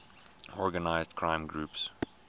organized crime groups